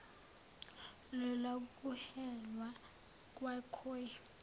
lola kuhelwa kwakhoi